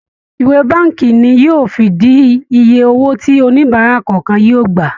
ìwé bánkì ní yóò fìdí ìyè owó tí oníbárà kọọkan yóò gbà.